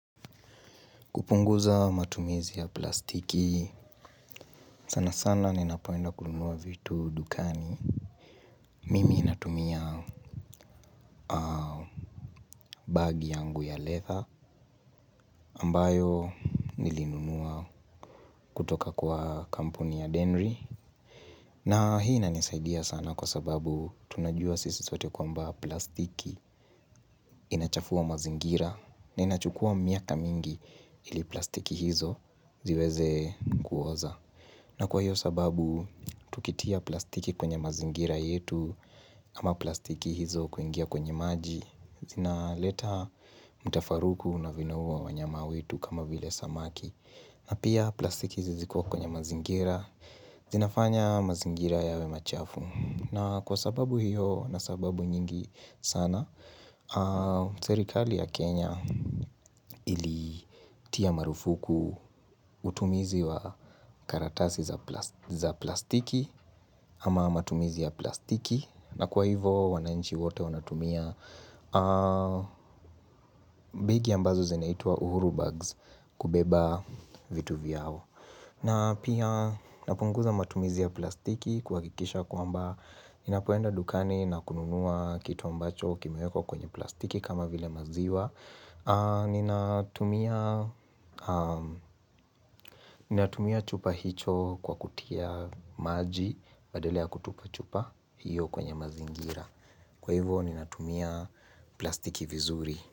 Kupunguza matumizi ya plastiki, sana sana ninapoenda kununua vitu dukani. Mimi natumia bagi yangu ya leather ambayo. Nilinunua kutoka kwa kampuni ya Denry. Na hii nanisaidia sana kwa sababu tunajua sisi sote kwa mba plastiki inachafua mazingira. Na inachukua miaka mingi ili plastiki hizo ziweze kuoza. Na kwa hiyo sababu, tukitia plastiki kwenye mazingira yetu, ama plastiki hizo kuingia kwenye maji, zinaleta mutafaruku na vinua wanyama wetu kama vile samaki. Na pia plastiki hizi ziko kwenye mazingira, zinafanya mazingira yawe machafu. Na kwa sababu hiyo na sababu nyingi sana, serikali ya Kenya ili tia marufuku utumizi wa karatasi za plastiki ama matumizi ya plastiki. Na kwa hivyo wananchi wote wanatumia bagi ambazo zinaitwa uhuru Bags kubeba vitu vyao. Na pia napunguza matumizi ya plastiki kuhakikisha kwamba ninapoenda dukani na kununua kitu ambacho kimewekwa kwenye plastiki kama vile maziwa. Ninatumia chupa hicho kwa kutia maji badala ya kutupa chupa hiyo kwenye mazingira. Kwa hivyo ninatumia plastiki vizuri.